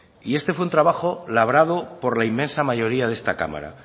y esto fue un trabajo labrado por la inmensa mayoría de esta cámara